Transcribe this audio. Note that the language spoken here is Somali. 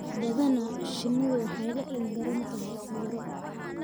Badanaa, shinnidu waxay la ildaran tahay cudurro